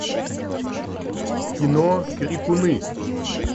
кино крикуны